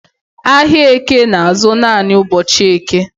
Ahịa Eke na-azụ naanị ụbọchị Eke